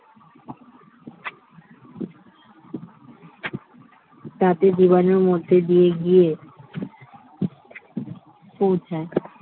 দাঁতে জীবাণুর মধ্যে দিয়ে গিয়ে পৌঁছায়